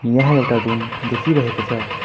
यहाँ एउटा रूम देखिरहेको छ।